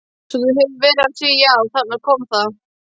Svo þú hefur verið að því já, þarna kom það.